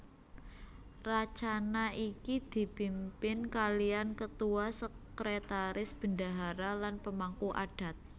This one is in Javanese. Racana iki dipimpin kalian ketua sekretaris bendahara lan pemangku adat